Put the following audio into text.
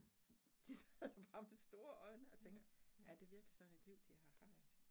Så de sad bare med store øjne og tænkte, er det virkelig sådan et liv de har haft